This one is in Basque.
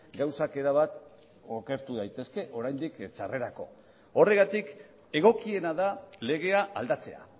gauzak erabat okertu daitezke oraindik txarrerako horregatik egokiena da legea aldatzea